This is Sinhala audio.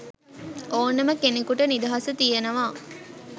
ඕනෙම කෙනෙකුට නිදහස තියනව.